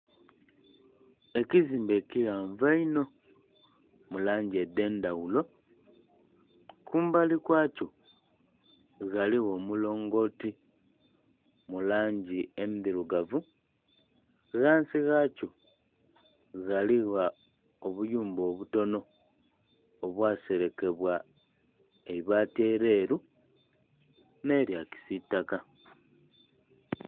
Ekizimbe ekighanvu einho mu langi edh'endhaghulo. Kumbali kwakyo, ghaligho omulongooti mu langi endhirugavu. Ghansi ghakyo ghaligho obuyumba obutono obwaselekebwa, eibaati elyeru nh'elya kisitaka.